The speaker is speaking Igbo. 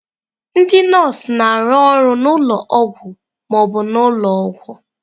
Ndị nọọsụ na-arụ ọrụ na ụlọ ọgwụ ma ọ bụ ụlọ ọgwụ.